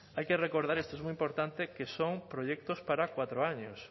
hay que recordar y esto es muy importante que son proyectos para cuatro años